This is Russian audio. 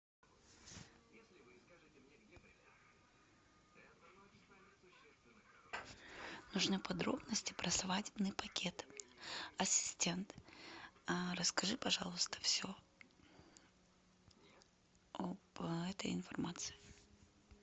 нужны подробности про свадебный пакет ассистент расскажи пожалуйста все об этой информации